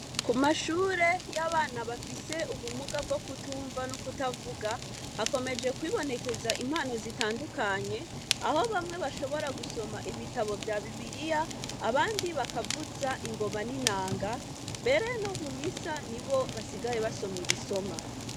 Kumashure yabana bafise ubumuga bwokutumva nukutavuga hakomeje kwibonekeza impano zitandukanye aho bamwe bashoboye gusoma ibitabo vya bibiriya abandi bakavuza ingoma nintanga mbere nomumisa nibo basigaye basoma ibisomwa